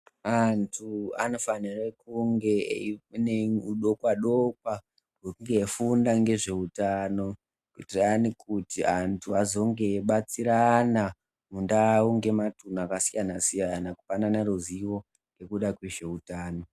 Antu anofanire kunge ane udokwa dokwa hwekufunda ngezveutano undani kuti antu azonge eibatsirana mundau ngematuntu akasiyana siyana kupanana ruzivo ngekuda kwezveutano.